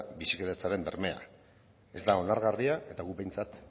bizikidetzaren bermea ez da onargarria eta guk behintzat